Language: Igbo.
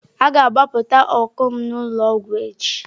A ga-agbapụta ọncụl m n'ụlọ ọgwụ echi.